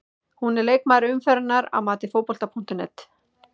Hún er leikmaður umferðarinnar að mati Fótbolta.net.